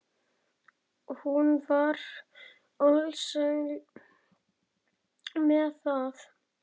Hún var alsæl með það.